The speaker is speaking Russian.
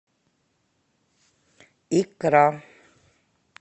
икра